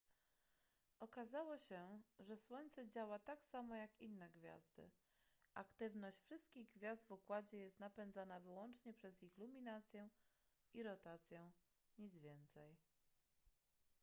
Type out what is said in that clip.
okazało się że słońce działa tak samo jak inne gwiazdy aktywność wszystkich gwiazd w układzie jest napędzana wyłącznie przez ich luminację i rotację nic więcej